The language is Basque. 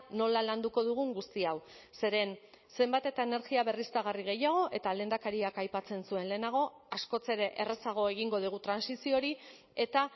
nola landuko dugun guzti hau zeren zenbat eta energia berriztagarri gehiago eta lehendakariak aipatzen zuen lehenago askoz ere errazago egingo dugu trantsizio hori eta